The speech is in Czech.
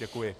Děkuji.